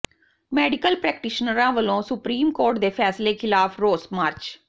medical ਪ੍ਰੈਕਟੀਸ਼ਨਰਾਂ ਵੱਲੋਂ supreme court ਦੇ ਫ਼ੈਸਲੇ ਖ਼ਿਲਾਫ਼ ਰੋਸ ਮਾਰਚ